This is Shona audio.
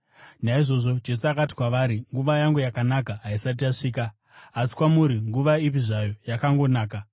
Naizvozvo Jesu akati kwavari, “Nguva yangu yakanaka haisati yasvika; asi kwamuri, nguva ipi zvayo yakangonaka.